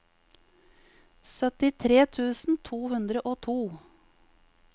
syttitre tusen to hundre og to